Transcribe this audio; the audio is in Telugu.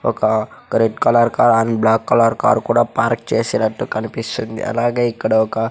ఒక red colour car and black colour car కూడా పార్క్ చేసినట్టు కనిపిస్తుంది అలాగే ఇక్కడ ఒక.